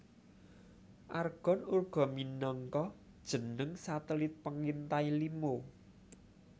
Argon uga minangka jeneng satelit pengintai lima